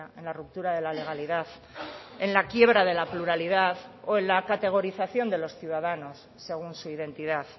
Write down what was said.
en la ruptura de la legalidad en la quiebra de la pluralidad o en la categorización de los ciudadanos según su identidad